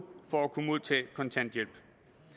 år for at kunne modtage kontanthjælp